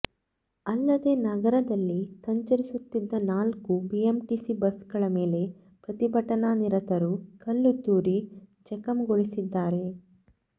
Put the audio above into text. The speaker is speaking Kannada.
ಅಲ್ಲದೆ ನಗರದಲ್ಲಿ ಸಂಚರಿಸು ತ್ತಿದ್ದ ನಾಲ್ಕು ಬಿಎಂಟಿಸಿ ಬಸ್ಗಳ ಮೇಲೆ ಪ್ರತಿಭಟನಾ ನಿರತರು ಕಲ್ಲು ತೂರಿ ಜಖಂಗೊಳಿಸಿದ್ದಾರೆ